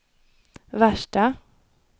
värsta